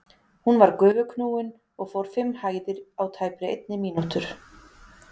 Hún var gufuknúin og fór fimm hæðir á tæpri einni mínútur.